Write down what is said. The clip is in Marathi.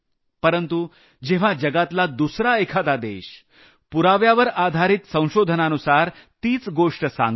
परंतु जेव्हा जगातला दुसरा एखादा देश पुराव्यावर आधारित संशोधनानुसार तीच गोष्ट सांगतो